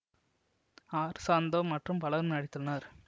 R Santho மற்றும் பலரும் நடித்துள்ளனர்